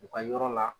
U ka yɔrɔ la